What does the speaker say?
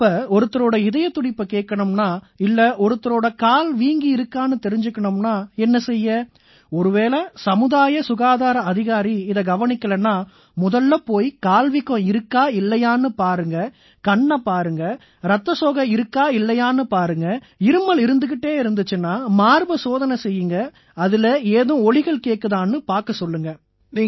இப்ப ஒருத்தரோட இதயத் துடிப்பைக் கேட்கணும்னா இல்லை ஒருத்தரோட கால் வீங்கியிருக்கான்னு தெரிஞ்சுக்கணும்னா என்ன செய்ய ஒருவேளை சமுதாய சுகாதார அதிகாரி இதை கவனிக்கலைன்னா முதல்ல போய் கால்ல வீக்கம் இருக்கா இல்லையான்னு பாருங்க கண்ணைப் பாருங்க ரத்தசோகை இருக்கா இல்லையான்னு பாருங்க இருமல் இருந்துக்கிட்டே இருந்திச்சுன்னா மார்பை சோதனை செய்யுங்க அதில ஏதும் ஒலிகள் கேட்குதான்னு பார்க்க சொல்லுங்க